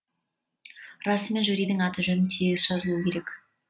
расымен жюридің аты жөні тегіс жазылуы керек